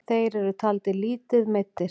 Þeir eru taldir lítið meiddir.